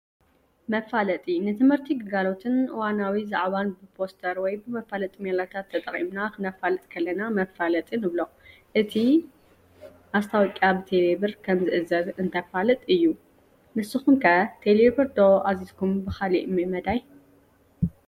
መፋለጢ፡-ንምህርቲ፣ ግልጋሎትን እዋናዋ ዛዕባን ብፖስተር ወይ ብመፋለጢ ሜላታት ተጠቒምና ክነፋልጥ ከለና መፋለጢ ንብሎ፡፡ እቲ ዲ/ማስታወቅያ ብቴሌ ብር ከምዝእዘዝ እንተፋልጥ እዩ፡፡ ንስኹም ከ ብቴሌ ብር ዶ ኣዚዝኩምስ ብኻሊእ መዳይ?